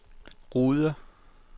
Rude